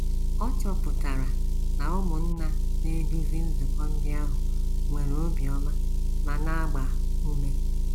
Ọ chọpụtara na ụmụnna na - eduzi nzukọ ndị ahụ nwere obiọma ma na - agba ume.